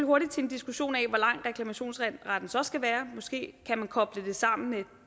hurtigt til en diskussion af hvor lang reklamationsretten så skal være måske kan man koble det sammen med